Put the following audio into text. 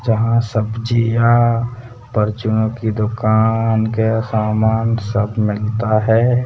जहां सब्जियां परचूनों की दुकान के सामान सब मिलता है।